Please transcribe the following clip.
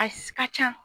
A ka ca